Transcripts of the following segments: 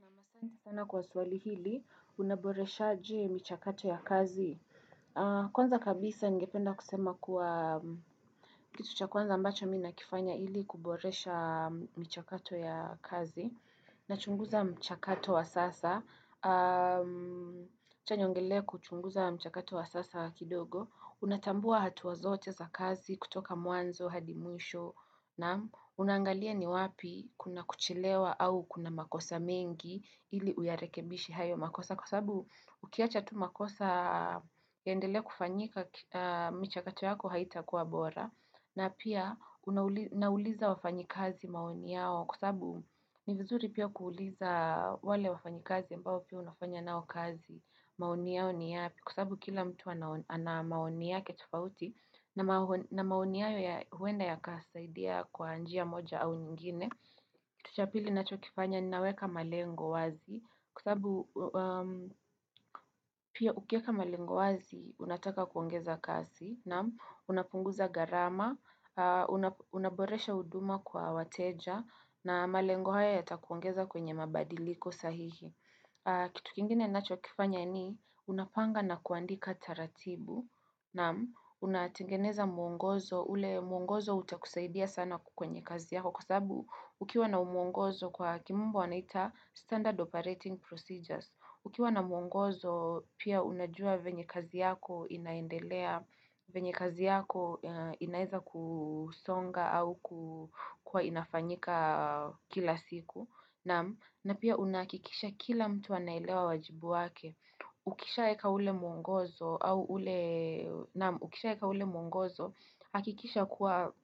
Naam asanti sana kwa swali hili, unaboresha aje mchakato ya kazi. Kwanza kabisa ningependa kusema kuwa kitu cha kwanza ambacho mi nakifanya ili kuboresha mchakato ya kazi. Nachunguza mchakato wa sasa. Chanyongele kuchunguza mchakato wa sasa wa kidogo. Unatambua hatu wazote za kazi kutoka muanzo, hadimusho na unangalia ni wapi kuna kuchilewa au kuna makosa mengi ili uyarekebishi hayo makosa kusabu ukiachatu makosa yendele kufanyika micha kato yako haita kuwa bora na pia nauliza wafanyikazi maoni yao kusabu ni vizuri pia kuuliza wale wafanyikazi mbao pia unafanya nao kazi maoni yao ni yapi kusabu kila mtu anamaonia ketufauti na maoni yao ya huenda ya kasa idia kwa anji ya moja au nyingine. Tuchapili na chokifanya na naweka malengo wazi. Kutabu, pia ukeka malengo wazi, unataka kuongeza kazi, na unapunguza garama, unaboresha huduma kwa wateja, na malengo haya yatakuongeza kwenye mabadiliko sahihi. Kitu kingine nachokifanya ni, unapanga na kuandika taratibu, na unatingeneza muongozo, ule muongozo utakusaidia sana kwenye kazi yako, kutabu, ukiwa na muongozo kwa kimmbu wanaita, Standard Operating Procedures. Ukiwa na mwongozo, pia unajua venye kazi yako inaendelea, venye kazi yako inaiza kusonga au kwa inafanyika kila siku. Na pia unakikisha kila mtu wanailewa wajibu wake. Ukishaweka ule mwongozo au ule, naam, ukishaweka ule mwongozo, hakikisha kuwa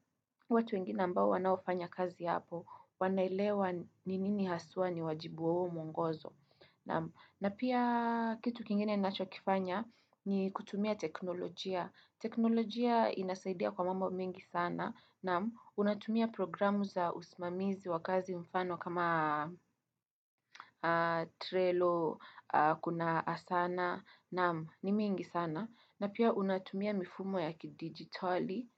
watu wengine ambao wanaofanya kazi hapo. Wanailewa ni nini haswa ni wajibu oo mungozo. Na pia kitu kingine inacho kifanya ni kutumia teknolojia. Teknolojia inasaidia kwa mambo mingi sana. Na unatumia programu za usimamizi wa kazi mfano kama trelo kuna asana. Na ni mingi sana. Na pia unatumia mifumo ya kidigitali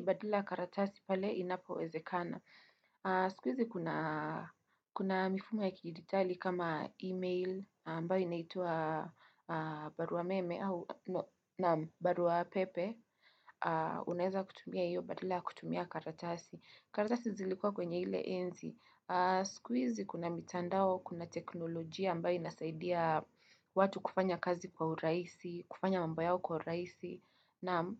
badala karatasi pale inapowezekana. Sikuizi kuna mifumo ya kijiditali kama email ambao inaitwa barua pepe na barua pepe, unaeza kutumia iyo badala ya kutumia karatasi. Karatasi zilikua kwenye ile enzi. Sikuizi kuna mitandao, kuna teknolojia ambayo inasaidia watu kufanya kazi kwa urahisi, kufanya mambo yao kwa uraisi. Na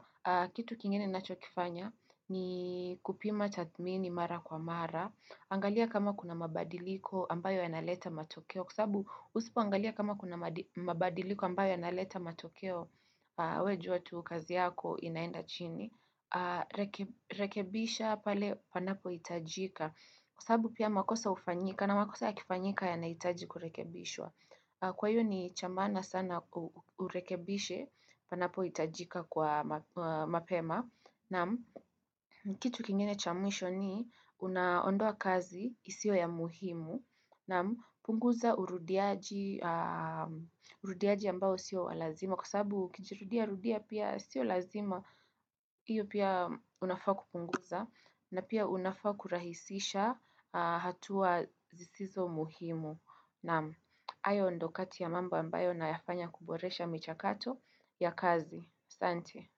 kitu kingene na chokifanya ni kupima tathmini mara kwa mara Angalia kama kuna mabadiliko ambayo ya naleta matokeo Kusabu usipo angalia kama kuna mabadiliko ambayo ya naleta matokeo We juatu kazi yako inaenda chini Rekebisha pale panapohitajika Kwa sababu pia makosa ufanyika na makosa ya kifanyika ya naitaji kurekebishwa Kwayo ni chamana sana urekebishe panapo itajika kwa mapema Naam, kitu kingine cha mwisho ni Unaondoa kazi isiyo ya muhimu Nam, punguza urudiaji Urudiaji ambao isiyo ya lazima Kwa sabbau kichirudia rudia pia Sio lazima Iyo pia unafaa kupunguza na pia unafaa kurahisisha hatua zisizo muhimu Nam, ayo ndokati ya mamba ambayo na yafanya kuboresha michakatu ya kazi. Sante.